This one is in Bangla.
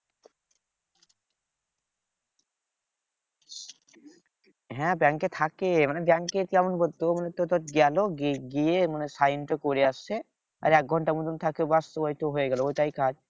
হ্যাঁ ব্যাংকে থাকে মানে ব্যাংকের কেমন বলতো? মানে তো ধর গেলো গিয়ে গিয়ে মানে sign টা করে আসতে আর এক ঘন্টা মতো থাকে ব্যাস ওইতো হয়ে গেলো ওটাই কাজ।